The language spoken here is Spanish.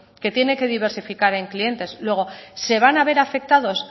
que tiene que diversificar en clientes luego se van a ver afectados